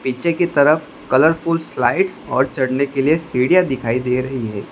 नीचे की तरफ कलरफुल स्लाइड्स और चढ़ने के लिए सीढ़ियां दिखाई दे रही है।